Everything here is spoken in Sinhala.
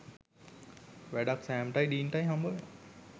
වැඩක් සෑම්ටයි ඩීන්ටයි හම්බවෙනවා